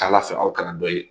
T'Ala fɛ aw kana dɔ ye